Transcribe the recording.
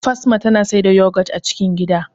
Fasma tana siyar da yogurt a cikin gida